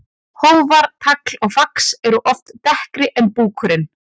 Hófar, tagl og fax eru oft dekkri en búkurinn.